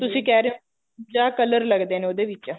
ਜਿਵੇਂ ਤੁਸੀਂ ਕਹਿ ਰਹੇ ਹੋ ਬਵੰਜਾ color ਲੱਗਦੇ ਨੇ ਉਹਦੇ ਵਿੱਚ